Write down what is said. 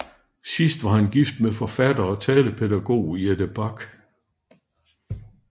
Sidst var han gift med forfatter og talepædagog Jette Bak